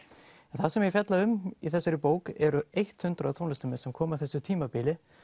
en það sem ég fjalla um í þessari bók eru eitt hundrað tónlistarmenn sem komu á þessu tímabili